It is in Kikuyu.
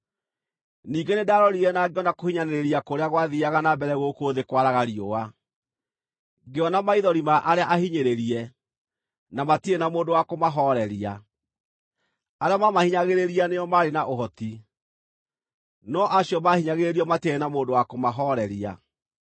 Ningĩ nĩndarorire na ngĩona kũhinyanĩrĩria kũrĩa gwathiiaga na mbere gũkũ thĩ kwaraga riũa: Ngĩona maithori ma arĩa ahinyĩrĩrie, na matirĩ na mũndũ wa kũmahooreria; arĩa maamahinyagĩrĩria nĩo maarĩ na ũhoti, no acio maahinyagĩrĩrio matiarĩ na mũndũ wa kũmahooreria.